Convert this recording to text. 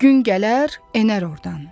Gün gələr, enər ordan.